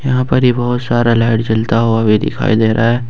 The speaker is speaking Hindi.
यहां पर ही बहोत सारा लाइट जलता हुआ भी दिखाई दे रहा है।